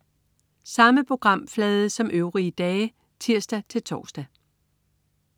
Samme programflade som øvrige dage (tirs-tors)